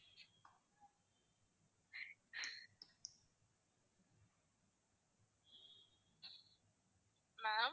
ma'am